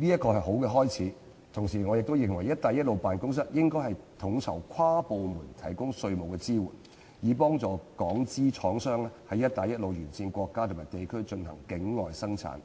這是一個好的開始，同時我也認為"一帶一路"辦公室應統籌跨部門提供稅務支援，以協助港商在"一帶一路"沿線國家和地區進行境外生產。